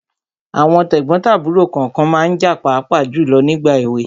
Àwọn tẹ̀gbọ́n tàbúrò kànkan ma ń jà pàápàá jùlọ ní ìgbà èwe.